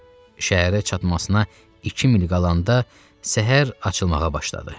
Şəhərə çatmasına 2 mil qalanda səhər açılmağa başladı.